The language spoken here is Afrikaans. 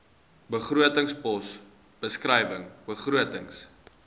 begrotingspos beskrywing begrotings